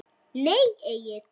Nei Egill.